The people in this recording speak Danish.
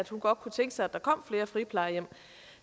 hun godt kunne tænke sig at der kommer flere friplejehjem